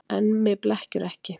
En mig blekkirðu ekki.